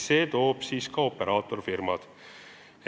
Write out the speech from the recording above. See toob siia ka operaatorfirmad.